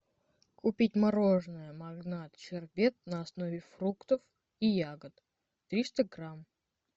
купить мороженое магнат щербет на основе фруктов и ягод триста грамм